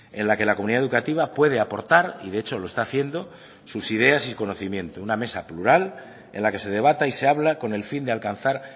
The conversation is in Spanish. en la que la comunidad educativa puede aportar y de hecho lo está haciendo sus ideas y su conocimiento una mesa plural en la que se debata y se habla con el fin de alcanzar